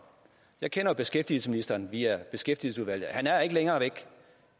jeg kender jo beskæftigelsesministeren via beskæftigelsesudvalget og han er ikke længere væk